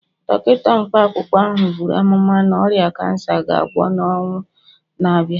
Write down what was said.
Dọkịta mkpa akwụkwọ ahụ buru amụma na ọrịa kansa ga-agwọ n'ọnwa na-abịa